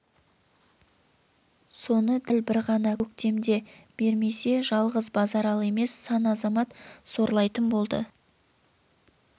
соны дәл бір ғана көктемде бермесе жалғыз базаралы емес сан азамат сорлайтын болды